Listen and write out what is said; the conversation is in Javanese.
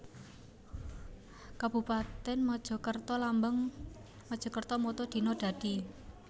Kabupatèn MajakertaLambang MajakertaMotto Dina Dadi